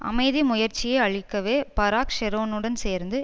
அமைதி முயற்சியை அழிக்கவே பாராக் ஷெரோனுடன் சேர்ந்து